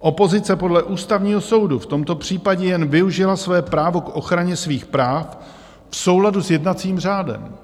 Opozice podle Ústavního soudu v tomto případě jen využila svoje právo k ochraně svých práv v souladu s jednacím řádem.